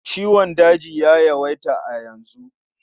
Ciwon daji ya yawaita a yanzu.